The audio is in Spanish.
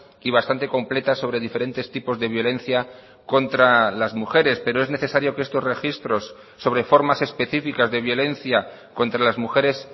y bastante completa sobre diferentes tipos de violencia contra las mujeres pero es necesario que estos registros sobre formas específicas de violencia contra las mujeres